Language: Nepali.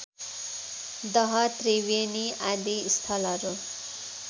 दहत्रिवेणी आदि स्थलहरू